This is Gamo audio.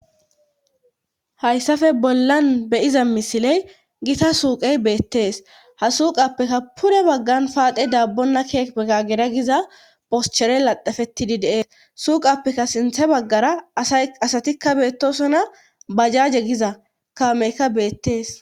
hayssafe bollan beyiza misiley gita suuqey beettees ha suuqappeka pure baggan paaxe daabbonna kiepe gagera giza poschere laxefetidi deees suuqappeka sinthe baggara asatikka beettosona bajaaje giza kamekka beettees